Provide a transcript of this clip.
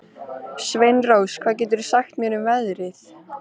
Sveinrós, hvað geturðu sagt mér um veðrið?